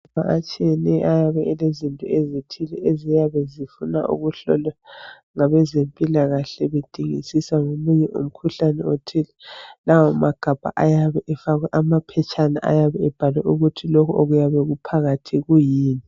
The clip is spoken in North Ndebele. Amagabha atshiyeneyo ayabe elezinto ezithize eziyabe zifuna ukuhlolwa ngabezempilakahle kudingisiswa ngomunye umkhuhlane othile. Lawa magabha ayabe efakwe amaphetshana ayabe ebhalwe ukuthi lokho okuyabe kuphakathi kuyini.